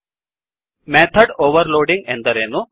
httpwwwspoken tutorialಒರ್ಗ್ method overloading ಎಂದರೇನು